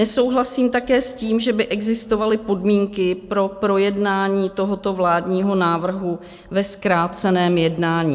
Nesouhlasím také s tím, že by existovaly podmínky pro projednání tohoto vládního návrhu ve zkráceném jednání.